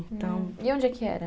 E onde é que era?